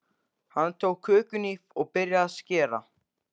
Hann tók kökuhnífinn og byrjaði að skera.